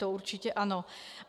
To určitě ano.